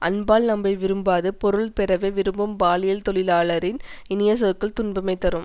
அன்பால் நம்மை விரும்பாது பொருள் பெறவே விரும்பும் பாலியல் தொழிலாளரின் இனிய சொற்கள் துன்பமே தரும்